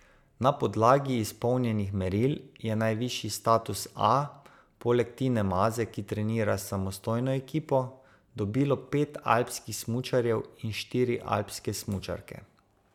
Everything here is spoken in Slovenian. Na podlagi izpolnjenih meril je najvišji status A, poleg Tine Maze, ki trenira s samostojno ekipo, dobilo pet alpskih smučarjev in štiri alpske smučarke.